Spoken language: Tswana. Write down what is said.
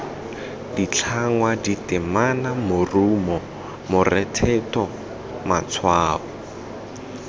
ditlhangwa ditemana morumo morethetho matshwao